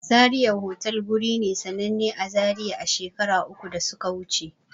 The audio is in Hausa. Zaria otal wuri ne sananne a zaria a shekaru uku da suka wuce